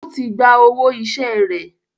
Ó tí gba owó iṣẹ́ rẹ̀.